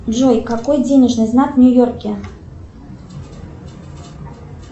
джой какой денежный знак в нью йорке